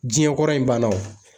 Jiɲɛ kɔrɔ in banna wo.